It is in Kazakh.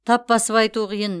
тап басып айту қиын